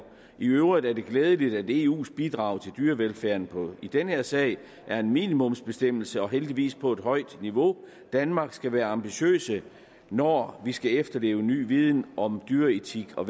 i øvrigt er det glædeligt at eus bidrag til dyrevelfærden i den her sag er en minimumsbestemmelse og heldigvis på et højt niveau danmark skal være ambitiøs når vi skal efterleve ny viden om dyreetik og